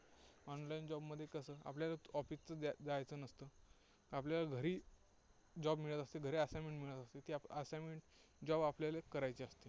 online job मध्ये कसं आपल्याला office च जाजायचं नसतं. आपल्याला घरी job मिळत असतं. घरी assignment मिळत असते. ती assignment job आपल्याला करायची असते.